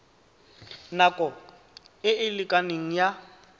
nako e e lekaneng ya